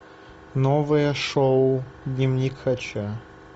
новое шоу дневник хача